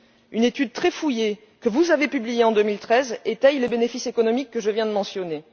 Une étude très fouillée que vous avez publiée en 2013 étaie les bénéfices économiques que je viens de mentionner.